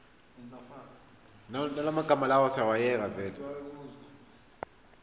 ya ngwaga le ngwaga ya